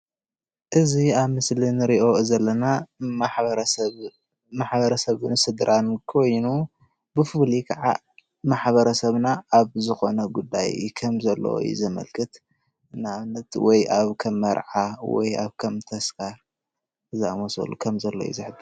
እዚ ኣብ ምስሊ እንሪኦ ዘለና ማሕበረ ሰብን ስድራን ኮይኑ ብፍሉይ ከዓ ማሕበረ ሰብና ኣብ ዝኮነ ጉዳይ ከም ዘለዎ እዩ ዘመልክት፡፡ ንእብነት ኣብ ከም መርዓ ወይ ከም ኣብ ተስካር ዝኣምሰሉ ከምዘሎ እዩ ዘምልክት፡፡